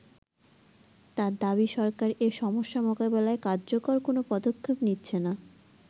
তার দাবি সরকার এ সমস্যা মোকাবেলায় কার্যকর কোন পদক্ষেপ নিচ্ছেনা।